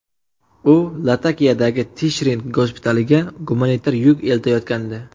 U Latakiyadagi Tishrin gospitaliga gumanitar yuk eltayotgandi.